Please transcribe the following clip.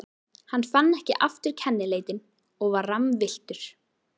Hann fann ekki aftur kennileitin og var rammvilltur.